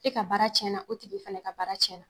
E ka baara cɛn na, o tigi fana ka baara cɛn na.